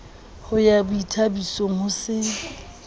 ho ya boithabisong ho se